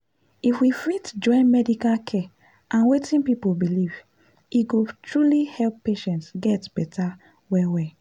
if we fit join medical care and wetin people believe e go truly help patients get better well well.